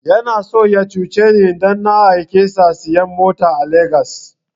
Yana so ya cuce ni idan na aike sa sayan mota a Legas